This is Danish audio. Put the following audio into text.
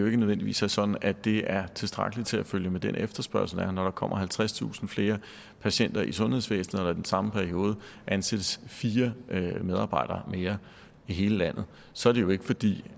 ikke nødvendigvis er sådan at det er tilstrækkeligt til at følge med den efterspørgsel der er når der kommer halvtredstusind flere patienter i sundhedsvæsenet og at den samme periode ansættes fire medarbejdere mere i hele landet så er det jo ikke fordi